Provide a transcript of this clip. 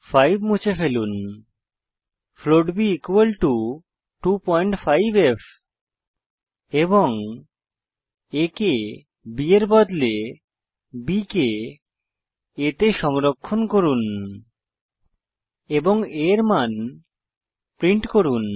5 মুছে ফেলুন float b equal to 25ফ এবং a কে b এর বদলে b কে a তে সংরক্ষণ করুন এবং a এর মান প্রিন্ট করুন